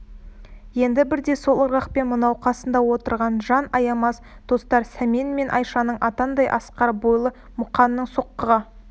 енді бірде сол ырғақпен мынау қасында отырған жан аямас достар сәмен мен айшаның атандай асқар бойлы мұқаның соққыға